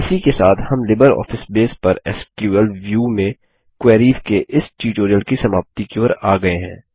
इसी के साथ हम लिबरऑफिस बेस पर एसक्यूएल व्यू में क्वेरीस के इस ट्यूटोरियल की समाप्ति की ओर आ गये हैं